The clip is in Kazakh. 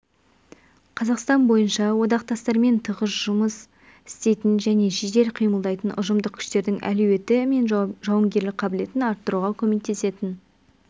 қазақстан бойынша одақтастармен тығыз жұмыс істейтін және жедел қимылдайтын ұжымдық күштердің әлеуеті мен жауынгерлік қабілетін арттыруға көмектесетін